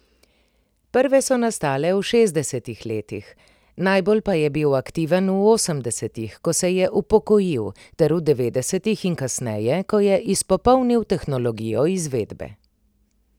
Prve so nastale v šestdesetih letih, najbolj pa je bil aktiven v osemdesetih, ko se je upokojil, ter v devetdesetih in kasneje, ko je izpopolnil tehnologijo izvedbe.